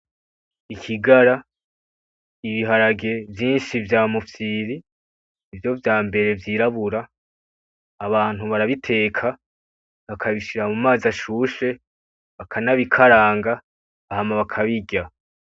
I Kigara, ibiharage vyinshi vya mufyiri nivyo vyambere vyirabura, abantu barabiteka bakabishira mu mazi ashushe, bakanabikaranga hama bakabirya.